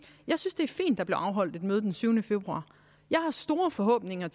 at der blev afholdt et møde den syvende februar jeg har store forhåbninger